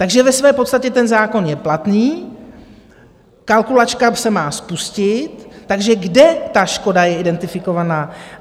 Takže ve své podstatě ten zákon je platný, kalkulačka se má spustit, takže kde ta škoda je identifikovaná?